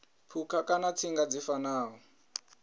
phukha kana tsinga dzi fanaho